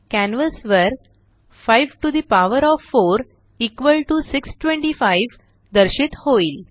canvas वर 54625 दर्शित होईल